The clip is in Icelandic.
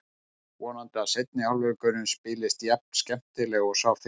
Vonandi að seinni hálfleikurinn spilist jafn skemmtilega og sá fyrri.